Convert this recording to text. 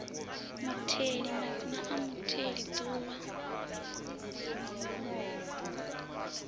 mutheli madzina a mutheli duvha